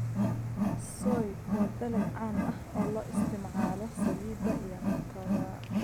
Soy: waa dalag caan ah oo loo isticmaalo saliidda iyo cuntada.